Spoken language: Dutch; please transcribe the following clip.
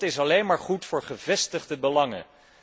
Want dat is alleen maar goed voor gevestigde belangen.